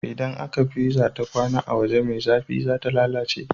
Idan aka pizza ta kwAna a waje me zafi zata lalace